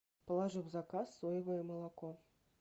положи в заказ соевое молоко